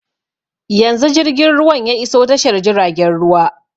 Yanzu jirgin ruwan ya iso tashar jiragen ruwa